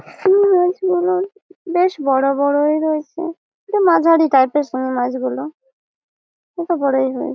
এখানে মাছগুলো বেশ বড় বড়ই রয়েছে মাঝারি টাইপ এর সেই মাছগুলো এইটা বড়ই রয়েছে।